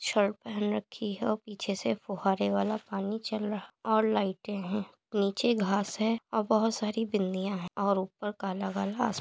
shirt पहन रखी हैं और पीछे से फुहारे वाला पानी चल रहा और लाइटे हैं नीचे घास है और बहुत सारी बिंदिया हैं और ऊपर काला काला अस्मा --